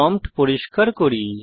prompt পরিষ্কার করি